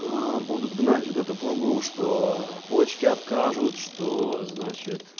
аа будут гнать вот эту пургу что почки откажут что значит